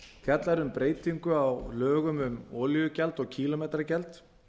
fjallar um breytingu á lögum um olíugjald og kílómetragjald